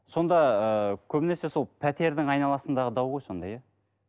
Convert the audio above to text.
сонда ыыы көбінесе сол пәтердің айналасындағы дау ғой сонда иә